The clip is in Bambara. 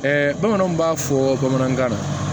bamananw b'a fɔ bamanankan na